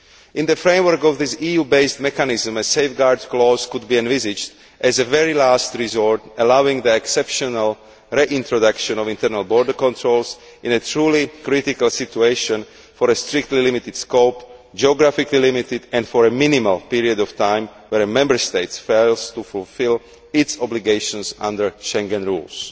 In the framework of this EU based mechanism, a safeguard clause could be envisaged as a very last resort, allowing the exceptional reintroduction of internal border controls in a truly critical situation for a strictly limited period, geographically limited and for a minimal period of time where a Member State fails to fulfil its obligations under Schengen rules.